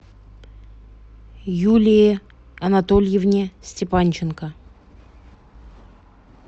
юлии анатольевне степанченко